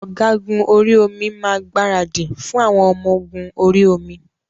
Ògágùn orí omi máa gbaradì fún àwọn ọmọ-ogun orí-omi.